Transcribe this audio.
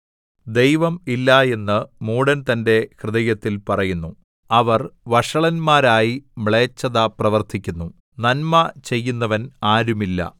ദൈവം ഇല്ല എന്ന് മൂഢൻ തന്റെ ഹൃദയത്തിൽ പറയുന്നു അവർ വഷളന്മാരായി മ്ലേച്ഛത പ്രവർത്തിക്കുന്നു നന്മ ചെയ്യുന്നവൻ ആരുമില്ല